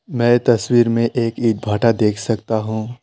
मैं ये तस्वीर में एक ईंट भाटा देख सकता हूं।